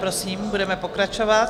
Prosím, budeme pokračovat.